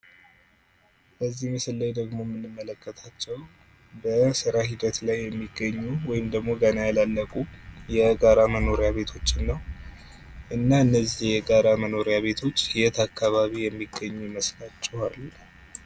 በዚህ ምስል ላይ ደግሞ የምንመለከታቸው በስራ ሂደት ላይ የሚገኙ ወይም ደግሞ ገና ያላለቁ የጋራ መኖሪያ ቤቶችን ነው። እና እነዚህ የጋራ መኖርያ ቤቶች የት አካባቢ የሚገኙ ይመስላችኋል?